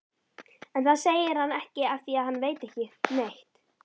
En það segir hann ekki afþvíað hann veit ekki neitt.